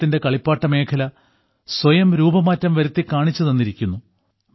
ഭാരതത്തിന്റെ കളിപ്പാട്ടമേഖല സ്വയം രൂപമാറ്റം വരുത്തിക്കാണിച്ചു തന്നിരിക്കുന്നു